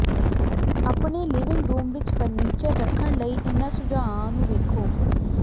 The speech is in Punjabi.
ਆਪਣੇ ਲਿਵਿੰਗ ਰੂਮ ਵਿੱਚ ਫਰਨੀਚਰ ਰੱਖਣ ਲਈ ਇਨ੍ਹਾਂ ਸੁਝਾਆਂ ਨੂੰ ਵੇਖੋ